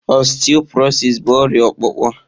Ọsteọprọsịs bụ ọrịa ọkpụkpụ